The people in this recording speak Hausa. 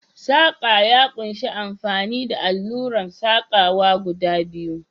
Saƙa ya ƙunshi amfani da alluran saƙawa guda biyu.